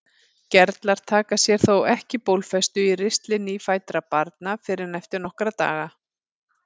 Gerlar taka sér þó ekki bólfestu í ristli nýfæddra barna fyrr en eftir nokkra daga.